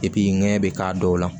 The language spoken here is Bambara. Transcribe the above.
nɛɲɛ bɛ k'a dɔw la